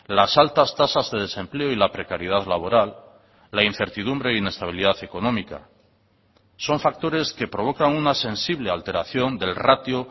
las altas tasas de desempleo y la precariedad laboral la incertidumbre e inestabilidad económica son factores que provocan una sensible alteración del ratio